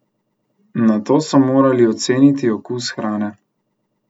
Nato so morali oceniti okus hrane.